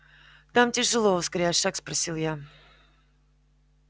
там тяжело ускоряя шаг спросил я